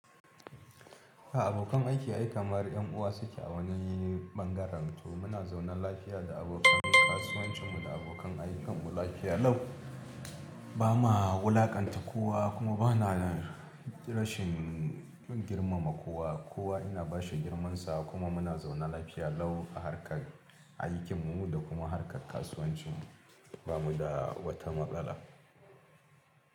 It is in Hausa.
A abokan aiki ai kamar 'yan uwa suke a wani bangaren to muna zaune lafiya da abokan kasuwancinmu da abokan aikin mu lafiya lau. Ba ma wulakanta kowa kuma ba na rashin girmama kowa. Kowa ina bashi girmansa kuma muna zaune lafiya lau a harkar aikin mu da kuma harkar kasuwanci bamu da wata matsala.